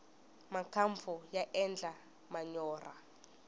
makampfu ya endla manyorha